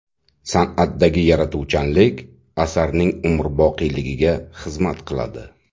San’atdagi yaratuvchanlik asarning umrboqiyligiga xizmat qiladi.